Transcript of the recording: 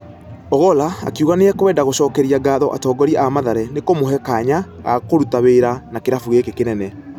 Ogolla akĩuga nĩakũenda gũcokeria gatho atongoria a mathare nĩkũmuhe kanya gakũruta wira na kĩrabũ gĩkĩ kĩnene.